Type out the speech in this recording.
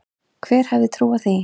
Hver hefði trúað því?